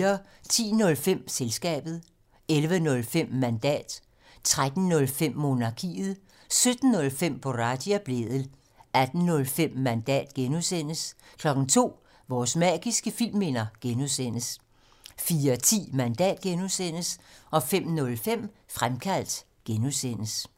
10:05: Selskabet 11:05: Mandat 13:05: Monarkiet 17:05: Boraghi og Blædel 18:05: Mandat (G) 02:00: Vores magiske filmminder (G) 04:10: Mandat (G) 05:05: Fremkaldt (G)